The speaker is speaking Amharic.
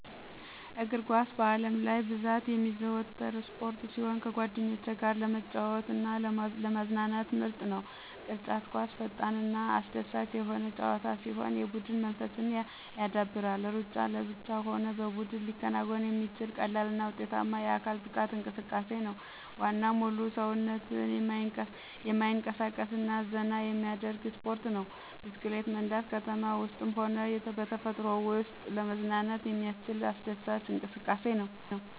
_አግርኳስ በአለምላይ ብዛት የሚዘወተር ስፖርት ሲሆን ከጓደኞቸ ጋር ለመጫወት አና ለማዝናናት ምርጥ ነዉ። _ቅርጫት ኳስ ፈጠንናአስደሳች የሆነ ጨዋታ ሲሆን የቡድን መንፈስን ያዳብራል። _ሩጫ ለብቻ ሆነ በቡድን ሊከናወን የሚችል ቀላልና ውጤታማ የአካል ብቃት እንቅሰቃሴ ነው። _ዋና ሙሉ ሰዉነትን የማይንቀሳቀስ እና ዘና የሚያደርግ ስፖርት ነዉ። _ብስክሌት መንዳት ከተማ ዉስጥም ሆነ በተፈጥሮ ወሰጥ ለመዝናናት የሚያስችል አስደሳች እንቅሰቃሴ ነዉ።